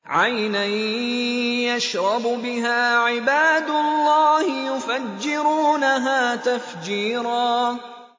عَيْنًا يَشْرَبُ بِهَا عِبَادُ اللَّهِ يُفَجِّرُونَهَا تَفْجِيرًا